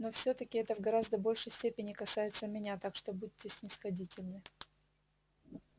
но всё-таки это в гораздо большей степени касается меня так что будьте снисходительны